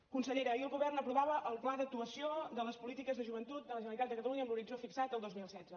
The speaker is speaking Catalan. consellera ahir el govern aprovava el pla d’actuació de les polítiques de joventut de la generalitat de catalunya amb l’horitzó fixat en el dos mil setze